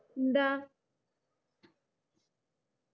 എന്താ